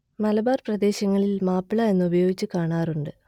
മലബാർ പ്രദേശങ്ങളിൽ മാപ്പിള എന്നും ഉപയോഗിച്ചു കാണാറുണ്ട്